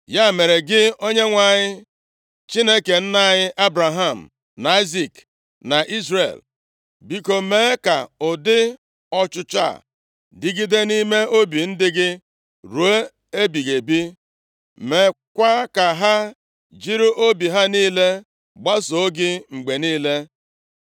Ya mere, gị Onyenwe anyị, Chineke nna anyị Ebraham na Aịzik, na Izrel, biko, mee ka ụdị ọchịchọ a dịgide nʼime obi ndị gị ruo ebighị ebi, meekwa ka ha jiri obi ha niile gbasoo gị mgbe niile.